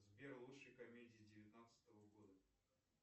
сбер лучшие комедии девятнадцатого года